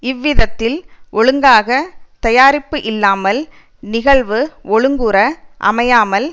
இவ்விதத்தில் ஒழுங்காகத் தயாரிப்பு இல்லாமல் நிகழ்வு ஒழுங்குற அமையாமல்